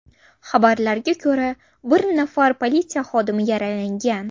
Xabarlarga ko‘ra, bir nafar politsiya xodimi yaralangan.